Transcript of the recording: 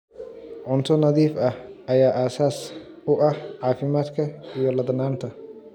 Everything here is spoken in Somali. Cunto nadiif ah ayaa aasaas u ah caafimaadka iyo ladnaanta.